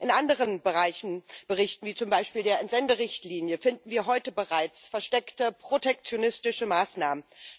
In anderen Berichten, wie zum Beispiel der Entsenderichtlinie, finden wir heute bereits versteckte protektionistische Maßnahmen.